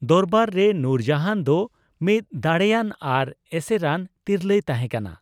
ᱫᱚᱨᱵᱟᱨ ᱨᱮ ᱱᱩᱨᱡᱟᱦᱟᱱ ᱫᱚ ᱢᱤᱫ ᱫᱟᱲᱮᱭᱟᱱ ᱟᱨ ᱮᱥᱮᱨᱟᱱ ᱛᱤᱨᱞᱟᱹᱭ ᱛᱟᱦᱮᱸᱠᱟᱱᱟ ᱾